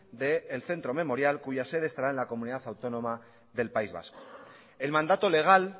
del centro memorial cuya cede estará en la comunidad autónoma del país vasco el mandato legal